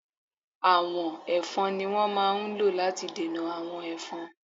Àwọ̀n Ẹ̀fọn ni wón máa ń lò láti dènà àwọn Ẹ̀fọn.